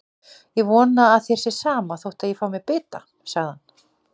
Ég vona að þér sé sama þótt ég fái mér bita, sagði hann.